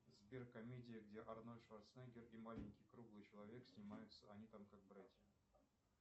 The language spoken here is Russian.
сбер комедия где арнольд шварценеггер и маленький круглый человек снимается они там как братья